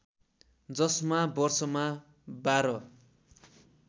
जसमा वर्षमा बाह्र